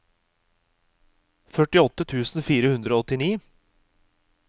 førtiåtte tusen fire hundre og åttini